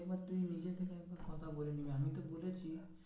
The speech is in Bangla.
এবার তুই নিজে থেকে একবার কথা বলে নিবি আমি তো বলেছি